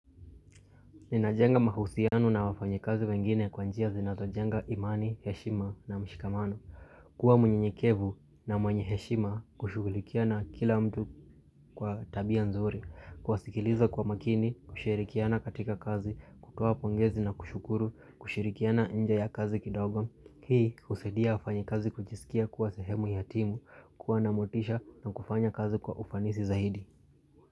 Ninajenga mahusianu na wafanye kazi wengine kwa njia zinazojenga imani, heshima na mshikamano. Kuwa mwenye nikevu na mwenye heshima kushugulikiana kila mtu kwa tabia nzuri. Kwasikiliza kwa makini, kushirikiana katika kazi, kutoa pongezi na kushukuru, kushirikiana nja ya kazi kidogo. Hii husaidia wafanye kazi kujisikia kuwa sehemu yatimu, kuwa namotisha na kufanya kazi kwa ufanisi zaidi.